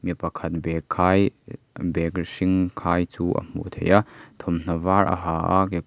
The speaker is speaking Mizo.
mi pakhat bag khai bag hring khai chu a hmuh theih a thawmhnaw var a ha a kekawr--